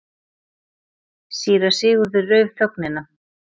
Síra Sigurður rauf þögnina.